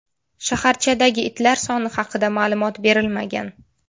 Shaharchadagi itlar soni haqida ma’lumot berilmagan.